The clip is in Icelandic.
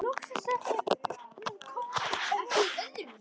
Loks er hún komin upp.